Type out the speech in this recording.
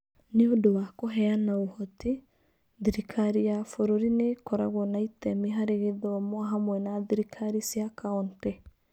Nĩ ũndũ wa kũheana ũhoti, thirikari ya bũrũri nĩ ĩkoragwo na itemi harĩ gĩthomo hamwe na thirikari cia county.